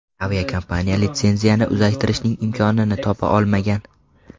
Aviakompaniya litsenziyani uzaytirishning imkonini topa olmagan.